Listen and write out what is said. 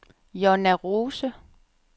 Jonna Rose